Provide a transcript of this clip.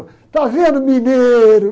Está vendo mineiro?